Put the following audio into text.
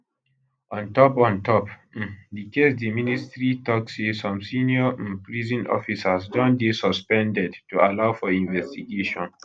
on top on top um di case di ministry tok say some senior um prison officers don dey suspended to allow for investigation